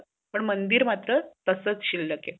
मंदिर मात्र तसच शिल्क आहे